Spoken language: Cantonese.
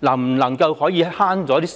能否節省時間。